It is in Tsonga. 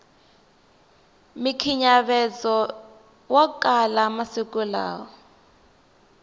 mikhinyavezowa kala manguva lawa